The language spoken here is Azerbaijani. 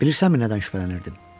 BİLİRSƏNMİ NƏDƏN ŞÜBHƏLƏNİRDİM?